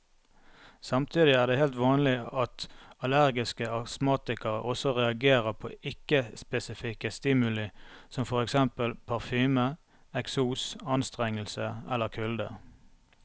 Samtidig er det helt vanlig at allergiske astmatikere også reagerer på ikke spesifikke stimuli som for eksempel parfyme, eksos, anstrengelse eller kulde.